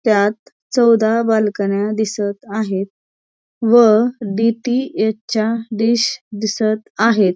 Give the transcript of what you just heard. ह्यात चौदा बांदकन्या दिसत आहेत व डीटीएच च्या डिश दिसत आहेत.